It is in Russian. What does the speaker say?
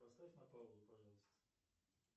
поставь на паузу пожалуйста